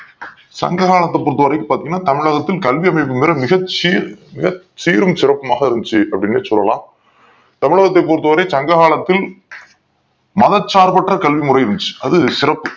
சங்ககாலத்த பொருத்த வரைக்கும் பாத்திங்கனா தமிழகத்தில் கல்வி அமைப்பு மிரு மிகச்சி மிகச்சீரும் சிறப்புமாக இருந்துச்சி அப்டின்னு சொல்லாம் தமிழகத்தை பொறுத்த வரை சங்க காலத்தில் மதசார்ப்பற்ற கல்வி முறை இருந்துச்சி அது சிறப்பு